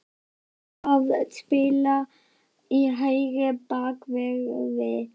Hver á að spila í hægri bakverði?